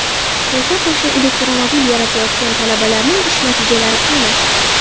Qo‘sha-qo‘sha elektromobil yaratayotgan talabalarning ish natijalari qani?